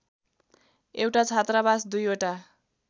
एउटा छात्रावास दुईवटा